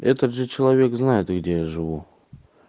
и тот же человек знает где я живу